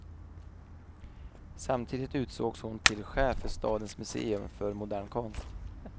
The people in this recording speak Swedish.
Samtidigt utsågs hon till chef för stadens museum för modern konst.